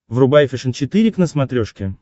врубай фэшен четыре к на смотрешке